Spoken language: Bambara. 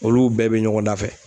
Olu bɛɛ bɛ ɲɔgɔn dafɛ.